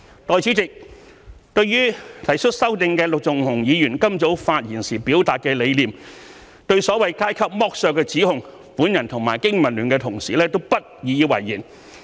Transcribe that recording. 代理主席，對提出修正案的陸頌雄議員今早發言時表達的理念，對所謂階級剝削的指控，我和經民聯同事都不以為然。